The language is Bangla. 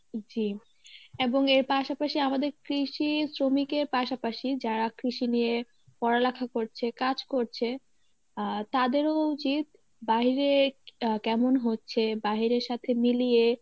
জী এবং এর পাশাপাশি আমাদের কৃষি শ্রমিকের পাশাপাশি যারা কৃষি নিয়ে পড়ালেখা করছে, কাজ করছে আহ তাদেরও উচিত বাহিরে আহ কেমন হচ্ছে বাহিরের সাথে মিলিয়ে